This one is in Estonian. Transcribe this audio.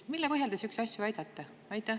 Mille põhjal te sihukesi asju väidate?